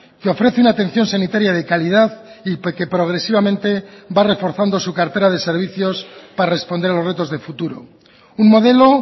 que ofrece una atención sanitaria de calidad y que progresivamente va reforzando su cartera de servicios para responder a los retos de futuro un modelo